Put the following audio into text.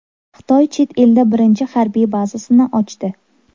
Xitoy chet elda birinchi harbiy bazasini ochdi.